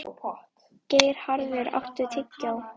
Geirharður, áttu tyggjó?